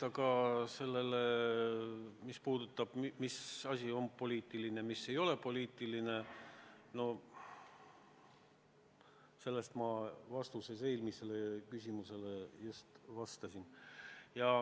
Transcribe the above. Aga sellele, mis asi on poliitiline, mis ei ole poliitiline, ma eelmise küsimuse puhul just vastasin.